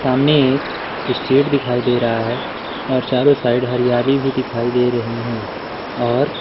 सामने एक स्टेट दिखाई दे रहा है और चारों साइड हरियाली भी दिखाई दे रही हैं और--